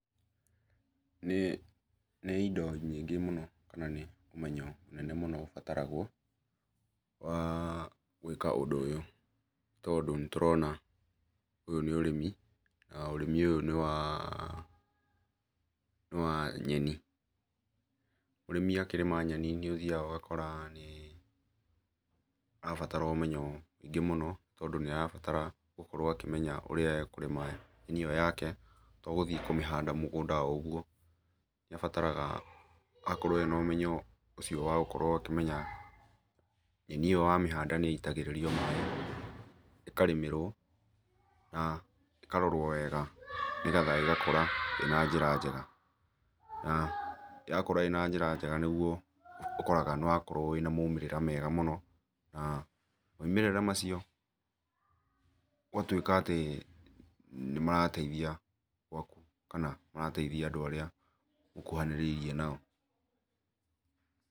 Nĩ indo nyingĩ mũno kana nĩ ũmenyo ũmwe mũnene mũno ũbataragwo wa gwĩka ũndũ ũyũ nĩ tondũ nĩ tũrona ũyũ nĩ ũrĩmi na ũrĩmi ũyũ nĩ wa nĩwa nyeni mũrĩmi akĩrĩma nyeni nĩ ũthiaga ũgakora nĩ arabara ũmenyo mũingĩ mũno tondũ nĩarabatara gũkorwo akĩmenya ũrĩa e kũrĩma nyeni ĩyo yake to gũthiĩ kũmĩhanda mũgũnda o ũgũo nĩabataraga akorwo en ũmenyo ũcio wa gũkorwo akĩmenya nyeni ĩyo wamĩhanda nĩ itagĩrĩrio maĩ ĩkarĩmĩrwo na ĩkarorwo wega nĩgetha ĩgakũra ĩ na njĩra njera na yakũra ĩna njĩra njega ũgakora nĩgũo ũkoraga nĩwakorwo wĩna maũmĩrĩra mega mũno na maũmĩrĩra macio ũgatwĩka atĩ nĩmarateithia gwakũ kana nĩmarateithia andũ arĩa mũhũhanĩrĩirie nao.